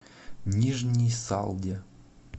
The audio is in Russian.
нижней салде